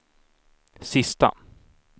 sista